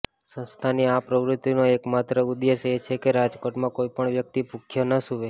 સંસ્થાની આ પ્રવૃતિનો એકમાત્ર ઉદેશ્ય એ છે કે રાજકોટમાં કોઇપણ વ્યક્તિ ભુખ્યો ન સુવે